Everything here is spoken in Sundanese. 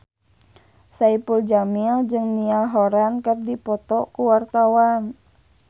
Saipul Jamil jeung Niall Horran keur dipoto ku wartawan